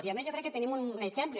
i a més jo crec que tenim un exemple